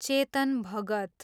Chetan Bhagat